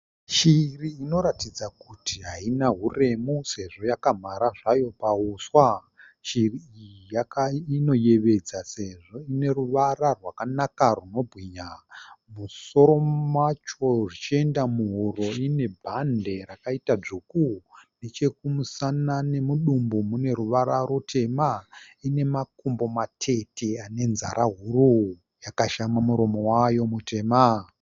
Shiri inoratidza kuti haina huremu sezvo yakamhara zvayo pahuswa. Shiri iyi inoyevedza sezvo ine ruvara rwakanaka rwunobwinya. Musoro macho zvichienda muhuro ine bhande rakaita dzvuku. Nechekumusana nemudumbu mune ruvara rutema. Ine makumbo matete anenzara huru. Yakashama muromo wayo mutema.